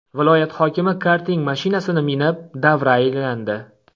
Viloyat hokimi karting mashinasini minib, davra aylandi .